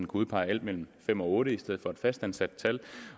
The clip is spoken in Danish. udpege alt mellem fem og otte i stedet for et fast antal